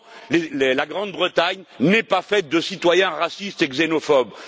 Non, la Grande Bretagne n'est pas faite de citoyens racistes et xénophobes